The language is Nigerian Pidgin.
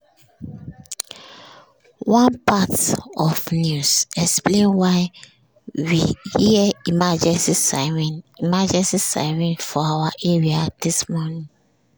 one part of news explain why we hear emergency siren emergency siren for our area dis morning.